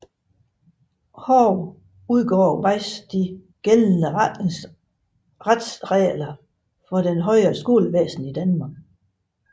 Hage udgav Weis De gældende Retsregler for det højere Skolevæsen i Danmark